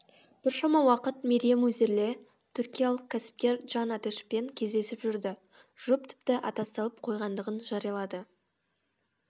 біршама уақыт мерием үзерли түркиялық кәсіпкер джан атешпен кездесіп жүрді жұп тіпті аттастырылып қойғандығын жариялады